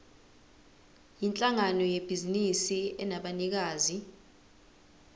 yinhlangano yebhizinisi enabanikazi